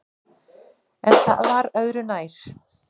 En það var öðru nær.